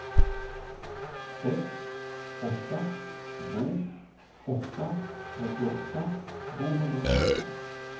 sex åtta två åtta trettioåtta tvåhundrasjutton